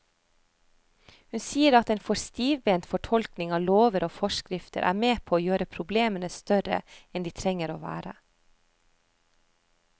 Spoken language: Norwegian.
Hun sier at en for stivbent fortolkning av lover og forskrifter er med på å gjøre problemene større enn de trenger å være.